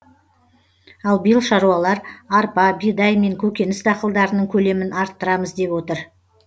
ал биыл шаруалар арпа бидай мен көкөніс дақылдарының көлемін арттырамыз деп отыр